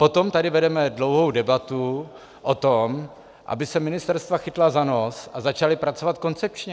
Potom tady vedeme dlouhou debatu o tom, aby se ministerstva chytla za nos a začala pracovat koncepčně.